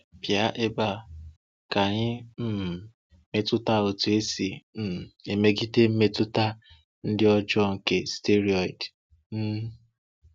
Pịa ebe a ka ị um mụta otu esi um emegide mmetụta ndị ọjọọ nke steiroịdu. um